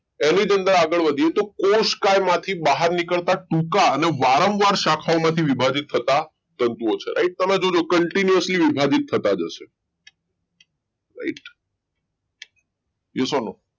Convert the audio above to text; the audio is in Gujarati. એની જ અંદર આગળ વધીએ તો કોષમાંથી બહાર નીકળતા ટૂંકા અને વારંવાર શાખાઓમાંથી વિભાજીત થતા તંતુઓ છે right તમે જોજો continuously વિભાજીત થતા હશે right yes no